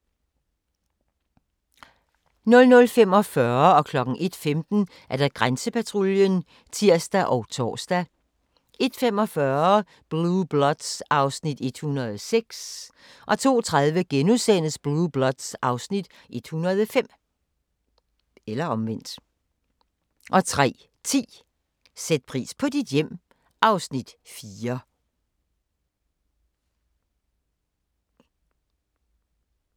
00:45: Grænsepatruljen (tir og tor) 01:15: Grænsepatruljen (tir og tor) 01:45: Blue Bloods (Afs. 106) 02:30: Blue Bloods (Afs. 105)* 03:10: Sæt pris på dit hjem (Afs. 4)